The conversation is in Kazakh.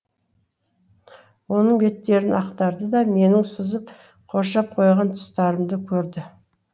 оның беттерін ақтарды да менің сызып қоршап қойған тұстарымды көрді